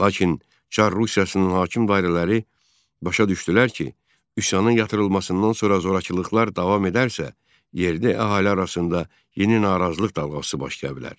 Lakin çar Rusiyasının hakim dairələri başa düşdülər ki, üsyanın yatırılmasından sonra zorakılıqlar davam edərsə, yerdə əhali arasında yeni narazılıq dalğası başlaya bilər.